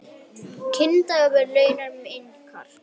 Kynbundinn launamunur minnkar